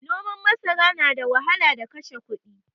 Noman masara nada wahala da kashe kudi